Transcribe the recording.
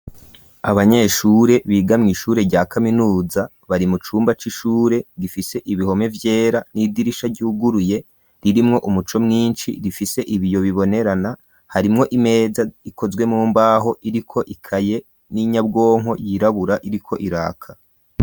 Abanyeshure biga mw'ishure rya kaminuza bari mu cumba c'ishure gifise ibihome vyera n'idirisha ryuguruye ririmwo umuco mwishi rifise ibiyo bibonerana harimwo imeza ikozwe mu mbaho iriko ikaye n'inyabwonko yirabura iriko iraka.